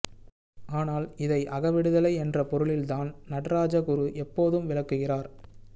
ஆனால் இதை அகவிடுதலை என்ற பொருளில்தான் நடராஜ குரு எப்போதும் விளக்குகிறார்